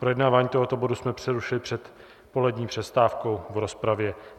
Projednávání tohoto bodu jsme přerušili před polední přestávkou v rozpravě.